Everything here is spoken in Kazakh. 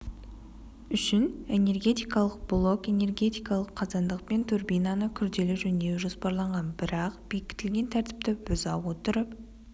үшін энергетикалық блок энергетикалық қазандық пен турбинаны күрделі жөндеу жоспарланған бірақ бекітілген тәртіпті бұза отырып